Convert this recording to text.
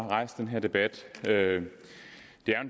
rejst den her debat det er jo en